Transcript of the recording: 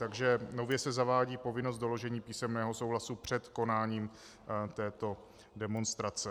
Takže nově se zavádí povinnost doložení písemného souhlasu před konáním této demonstrace.